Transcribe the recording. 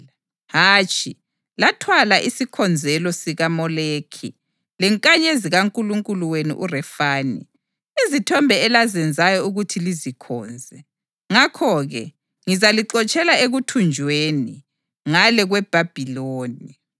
Hatshi, lathwala isikhonzelo sikaMoleki lenkanyezi kankulunkulu wenu uRefani, izithombe elazenzayo ukuthi lizikhonze. Ngakho-ke, ngizalixotshela ekuthunjweni’ + 7.43 U-Amosi 5.25-27 ngale kweBhabhiloni.